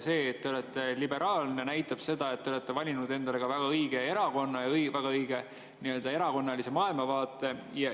See, et te olete liberaalne, näitab seda, et te olete valinud endale väga õige erakonna ja väga õige erakonnalise maailmavaate.